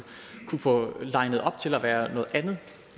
kunne få linet op til at være noget andet